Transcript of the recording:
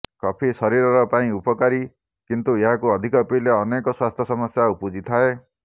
coffee ଶରୀର ପାଇଁ ଉପକାରୀ କିନ୍ତୁ ଏହାକୁ ଅଧିକ ପିଇଲେ ଅନେକ ସ୍ୱାସ୍ଥ୍ୟ ସମସ୍ୟା ଉପୁଜିଥାଏ